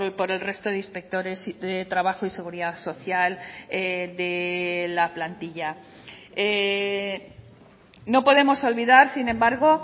por el resto de inspectores de trabajo y seguridad social de la plantilla no podemos olvidar sin embargo